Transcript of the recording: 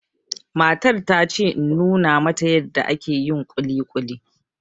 Matar ta ce in nuna mata yarda ake yin kuli kuli